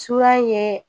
Suya ye